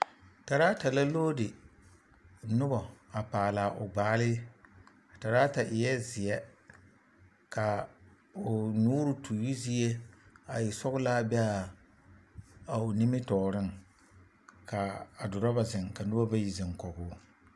Teraata la logri noba a paale a o gbaale a teraata eɛ zeɛ ka o nyoore toyizie a e sɔglaa be a a o nimitɔɔreŋ ka dorɔba zeŋ ka noba bayi zeŋ kɔge o.